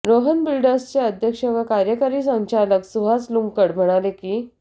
रोहन बिल्डर्सचे अध्यक्ष व कार्यकारी संचालक सुहास लुंकड म्हणाले की